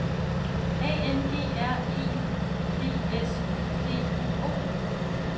A N G R E B S D U O